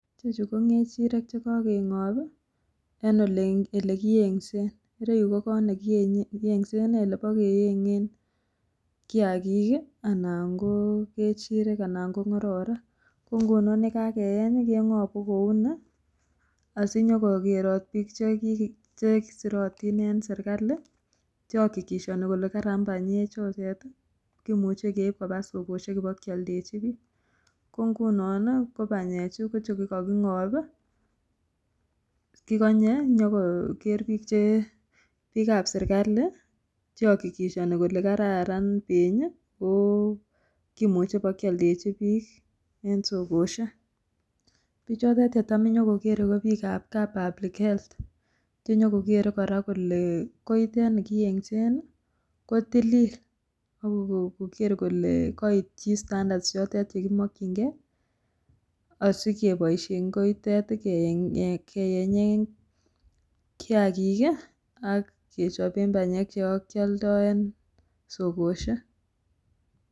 Chechuu ko ngechirek chekokengop en olekiyensen, ireyuu ko kot nekiye nekiyenseni olebo keyengen kiyakik kii anan ko ngechirek anan ko ngororik, ko ngunon yekakeyeny kengobu kouni asinyo kokerot bik cheki chesirotin en sirkali che okikishoni kole Kara panyek chotet tii, kimuche keib koba sokoshek bokioldechi bik, ko ngunon nii ko panyek chuu chechu kochukokingopi ko konye nyokoker bik che bikab serkali che okikishoni kole kararan penyi ko kimuche bokioldechi bik en sokoshek. Bichotet chetam nyokokere ko bik ab public health chenyo kokere Koraa kole koitet nikiyensen kotilil ako kokere kole koityi standards chotet chekimokingee osikeboishen kiotet keyengen kiyakik kii ak kechoben panyek chebokioldo en sokoshek.